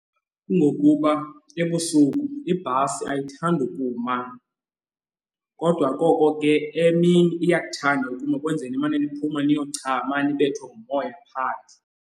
Kungokuba ebusuku ibhasi ayithandi ukuma kodwa koko ke emini uyakuthanda ukuma ekwenzeni nimane liphuma niyochama ndibethwe ngumoya phandle.